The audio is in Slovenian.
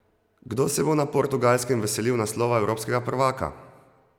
Kdo se bo na Portugalskem veselil naslova evropskega prvaka?